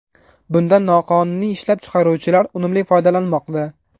Bundan noqonuniy ishlab chiqaruvchilar unumli foydalanmoqda.